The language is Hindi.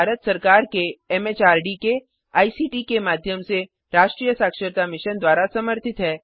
यह भारत सरकार एमएचआरडी के आईसीटी के माध्यम से राष्ट्रीय साक्षरता मिशन द्वारा समर्थित है